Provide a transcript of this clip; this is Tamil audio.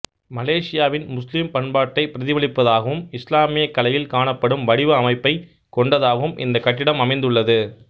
மலேசியாவின் முஸ்லிம் பண்பாட்டைப் பிரதிபலிப்பதாகவும் இஸ்லாமியக் கலையில் காணப்படும் வடிவ அமைப்பைக் கொண்டதாகவும் இந்தக் கட்டிடம் அமைந்து உள்ளது